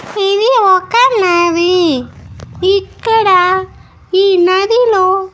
ఇది ఒక నది ఇక్కడ ఈ నదిలో--